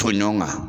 To ɲɔgɔn kan